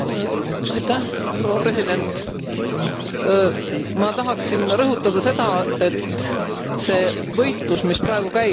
Ma tahaksin rõhutada seda, et see võitlus, mis praegu käib, see on ju võitlus väärtuste vahel.